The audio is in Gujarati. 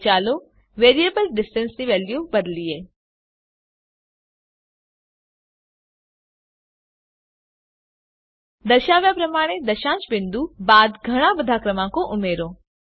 હવે ચાલો વેરીએબલ ડિસ્ટન્સ ની વેલ્યુ બદલીએ દર્શાવ્યા પ્રમાણે દશાંશ બિંદુ બાદ ઘણા બધા ક્રમાંકો ઉમેરો